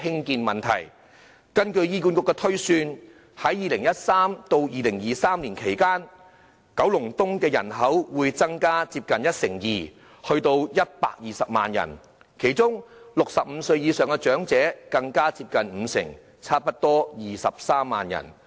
根據醫管局的推算 ，2013 年至2023年期間，九龍東的人口會增加接近一成二，達120萬人，其中65歲以上長者的增幅更接近五成，達到差不多23萬人。